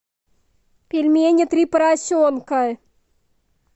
пельмени три поросенка